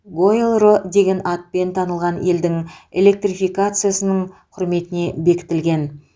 гоэлро деген атпен танылған елдің электрификациясының құрметіне бекітілген